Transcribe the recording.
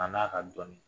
A n'a ka dɔnni